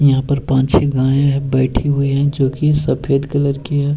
यहाँ पर पांच छे गाये है बैठी हुई है जो की सफेद कलर की है।